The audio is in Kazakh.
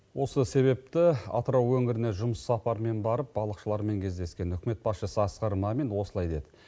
осы себепті атырау өңіріне жұмыс сапармен барып балықшылармен кездескен үкімет басшысы асқар мамин осылай деді